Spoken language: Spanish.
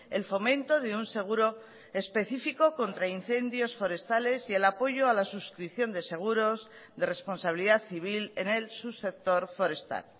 el fomento de un seguro específico contra incendios forestales y el apoyo a la suscripción de seguros de responsabilidad civil en el subsector forestal